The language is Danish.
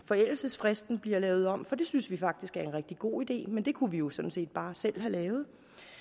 forældelsesfristen bliver lavet om for det synes vi faktisk er en rigtig god idé men det kunne vi jo sådan set bare selv have lavet